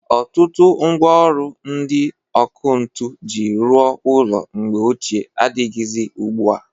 Ọtụtụ mgwa ọlụ ndị ọkụ ntu ji rụọ ọlụ na mgbe ochịe adịghịzị ugbua.